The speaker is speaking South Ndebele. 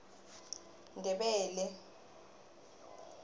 ndebele